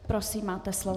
Prosím, máte slovo.